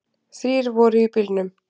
Þrír voru í bílnum.